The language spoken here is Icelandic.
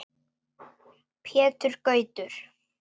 Pétur Gautur.